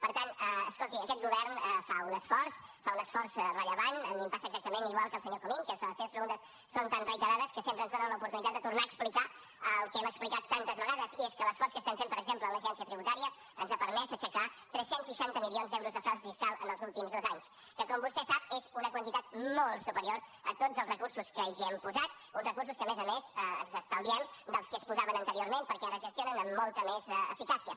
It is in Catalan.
per tant escolti aquest govern fa un esforç fa un esforç rellevant a mi em passa exactament igual que al senyor comín que les seves preguntes són tan reiterades que sempre ens donen l’oportunitat de tornar a explicar el que hem explicat tantes vegades i és que l’esforç que estem fent per exemple en l’agència tributària ens ha permès aixecar tres cents i seixanta milions d’euros de frau fiscal en els últims dos anys que com vostè sap és una quantitat molt superior a tots els recursos que hi hem posat uns recursos que a més a més ens estalviem dels que es posaven anteriorment perquè ara es gestionen amb molta més eficàcia